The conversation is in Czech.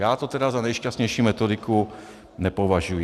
Já to tedy za nejšťastnější metodiku nepovažuji.